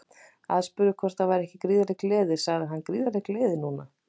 Aðspurður hvort það væri ekki gríðarleg gleði sagði hann Gríðarleg gleði núna.